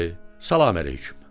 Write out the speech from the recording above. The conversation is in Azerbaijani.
Bəli, salam əleyküm.